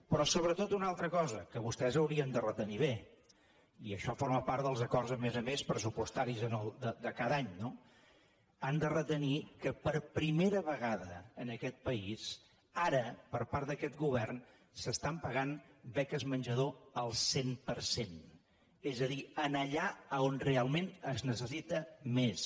però sobretot una altra cosa que vostès haurien de retenir bé i això forma parts dels acords a més a més pressupostaris de cada any no han de retenir que per primera vegada en aquest país ara per part d’aquest govern s’estan pagant beques menjador al cent per cent és a dir allà on realment es necessita més